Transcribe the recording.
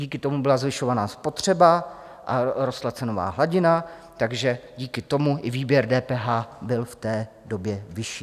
Díky tomu byla zvyšovaná spotřeba a rostla cenová hladina, takže díky tomu i výběr DPH byl v té době vyšší.